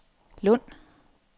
Lund